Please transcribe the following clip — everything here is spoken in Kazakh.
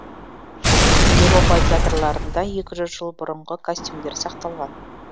еуропа театрларында екі жүз жыл бұрынғы костюмдер сақталған